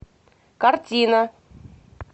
картина